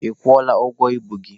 Ị kwụọla ụgwọ ibu gị?